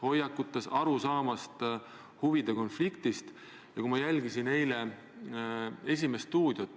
Riigikogu, nagu te teate, valivad Eesti inimesed ja nad valivad need naised ja mehed, keda nad peavad õigeks.